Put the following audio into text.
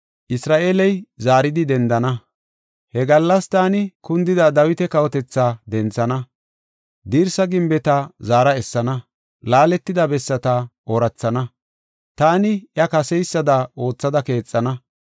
“He gallas taani kundida Dawita kawotethaa denthana. Dirsa gimbeta zaara essana; laaletida bessata oorathana; taani iya kaseysada oothada keexana.